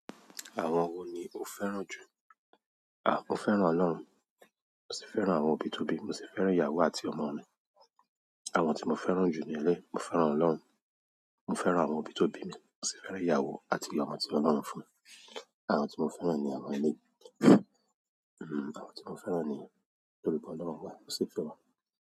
Àwọn wo ni o fẹ́ràn jù? À, mo fẹ́ràn Ọlọ́run, mo sì fẹ́ràn àwọn òbí tó bí mi, mo sì fẹ́ràn ìyàwó àti ọmọ mi. Àwọn tí mo fẹ́ràn jù ní eleyi, mo fẹ́ràn Ọlọ́run, mo fẹ́ràn àwọn òbí tó bí mi, mo sì fẹ́ràn ìyàwó àti ọmọ tí Ọlọ́run fún mi. Àwọn tí mo fẹ́ràn ni àwọn eleyi, àwọn tí mo fẹ́ràn ni nítorí pé Ọlọ́run wà, mo sì fẹ́ràn.